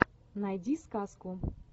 найди сказку